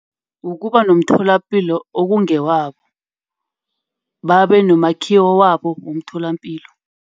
Ukuba nomtholapilo okungewabo. Babe nomakhiwo wabo womtholapilo.